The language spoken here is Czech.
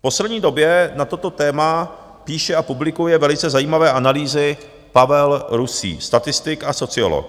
V poslední době na toto téma píše a publikuje velice zajímavé analýzy Pavel Rusý, statistik a sociolog.